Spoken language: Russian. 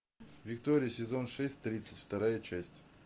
виктория сезон шесть тридцать вторая часть